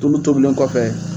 Tulu tobilen kɔfɛ